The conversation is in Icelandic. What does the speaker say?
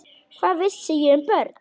Hvað vissi ég um börn?